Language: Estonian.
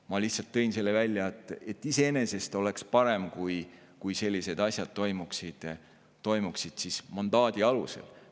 Ma lihtsalt tõin selle näite viitamaks, et iseenesest oleks parem, kui sellised asjad toimuksid mandaadi alusel.